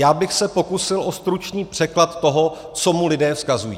Já bych se pokusil o stručný překlad toho, co mu lidé vzkazují.